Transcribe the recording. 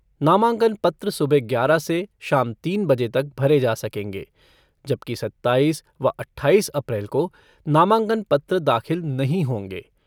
नामांकन पत्र सुबह ग्यारह से शाम तीन बजे तक भरे जा सकेंगे जबकि सत्ताईस व अट्ठाईस अप्रैल को नामांकन पत्र दाखिल नहीं होंगे।